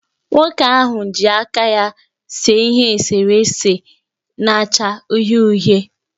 Nwoke ahụ ji aka ya see ihe eserese na-acha uhie uhie